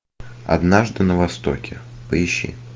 однажды на востоке поищи